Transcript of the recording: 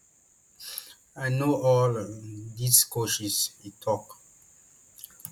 i know all um these coaches e tok